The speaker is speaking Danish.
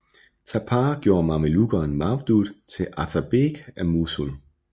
Tapar gjorde mamelukkeren Mawdud til atabeg af Mosul